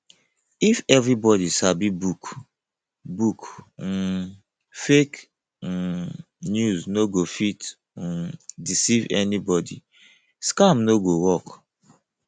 if everybody sabi book book um fake um news no go fit um deceive anybody scam no go work